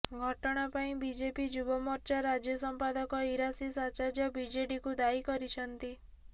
ଘଟଣା ପାଇଁ ବିଜେପି ଯୁବମୋର୍ଚ୍ଚା ରାଜ୍ୟ ସଂପାଦକ ଇରାସିସ ଆଚାର୍ଯ୍ୟ ବିଜେଡିକୁ ଦାୟୀ କରିଛନ୍ତି